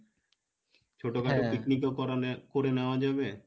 ছোটো খাটো picnic ও করনে করে নেওয়া যাবে